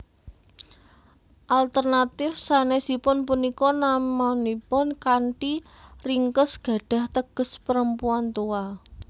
Alternatif sanèsipun punika namanipun kanthi ringkes gadhah teges perempuan tua